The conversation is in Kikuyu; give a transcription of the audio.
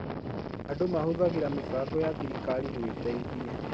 Andũ mahũthagĩra mĩbango ya thirikari gwĩteithia